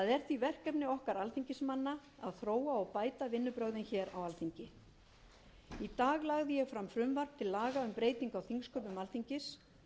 er því verkefni okkar alþingismanna að þróa og bæta vinnubrögðin hér á alþingi í dag lagði ég fram frumvarp til laga um breytingu á þingsköpum alþingis